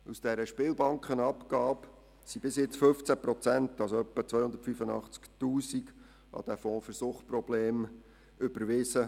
Aus dieser Spielbankenabgabe wurden bis jetzt 15 Prozent oder ungefähr 285 000 Franken an den Fonds für Suchtprobleme überwiesen.